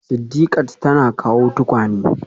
Sidiqat tana kawo tukwane